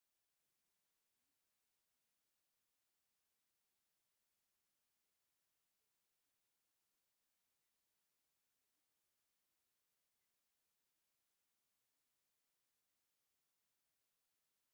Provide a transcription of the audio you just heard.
ናይ ባህላዊ ክዳን ዝተከደነት ሓንቲ ጓል ኣንስትዮቲ ሰማያዊ ሕብሪ እድያት ዘለዎን ብዝተፈላለዩ ዓይነት ሕብሪ ዝተጠለፈ ኮይኑ ጉባጉብ ዝብሃል ኣየናይ እዩ?